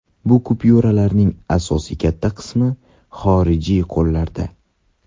Bu kupyuralarning asosiy katta qismi xorijiy qo‘llarda.